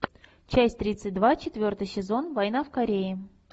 часть тридцать два четвертый сезон война в корее